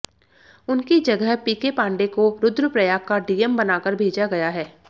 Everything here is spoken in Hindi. उनकी जगह पीके पांडे को रुद्रप्रयाग का डीएम बनाकर भेजा गया है